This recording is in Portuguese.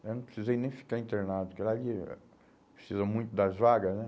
né eu não precisei nem ficar internado, porque lá eles precisa muito das vaga, né?